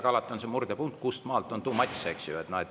Ent alati on see murdepunkt, kust maalt on too much, eks ju.